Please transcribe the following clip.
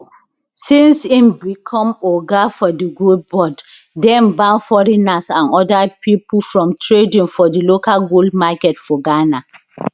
since im become oga for di gold board dem ban foreigners and oda pipo from trading for di local gold market for ghana